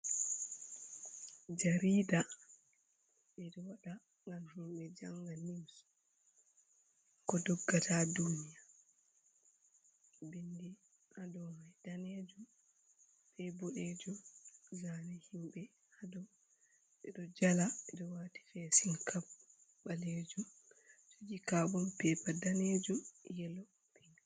Jarida, ɓeɗo waɗa ngam himɓe janga nius ko doggata duniya bindi hadomai danejum be boɗejum zami himɓe hado ɓeɗo jala ɓeɗo wati fe sin kab ɓalejum koji kabun pepa danejum, yelo, pink.